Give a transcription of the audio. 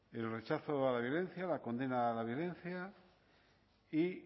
el rechazo a la violencia a la condena la violencia y